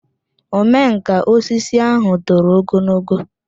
omenkà osisi ahụ toro ogologo